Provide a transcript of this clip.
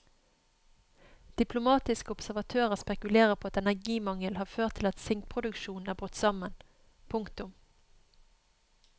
Diplomatiske observatører spekulerer på at energimangel har ført til at sinkproduksjonen er brutt sammen. punktum